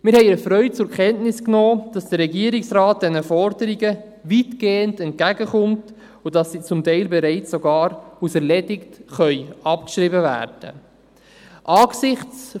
Wir haben erfreut zur Kenntnis genommen, dass der Regierungsrat diesen Forderungen weitgehend entgegenkommt und dass sie zum Teil bereits sogar als erledigt abgeschrieben werden können.